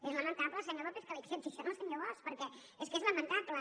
és lamentable senyor lópez que li accepti això al senyor bosch perquè és que és lamentable